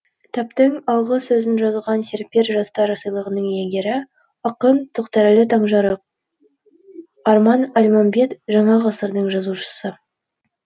кітаптың алғы сөзін жазған серпер жастар сыйлығының иегері ақын тоқтарәлі таңжарық арман әлманбет жаңа ғасырдың жазушысы